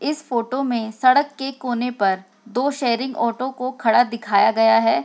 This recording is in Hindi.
इस फोटो में सड़क के कोने पर दो शेयरिंग को ऑटो को खड़ा दिखाया गया है।